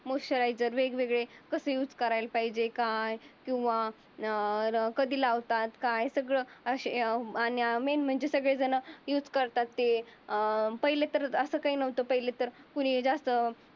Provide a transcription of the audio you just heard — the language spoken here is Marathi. मौस्यरायझर वेगवेगळे कसे युज करायला पाहिजे काय किंवा अं कधी लावतात. सगळं असे अं मेन म्हणजे सगळे झण युज करतात. ते अं पहिले तर अस काही नवत पहिले तर हे ज्यास्त